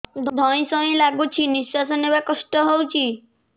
ଧଇଁ ସଇଁ ଲାଗୁଛି ନିଃଶ୍ୱାସ ନବା କଷ୍ଟ ହଉଚି